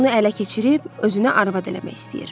Onu ələ keçirib özünə arvad eləmək istəyir.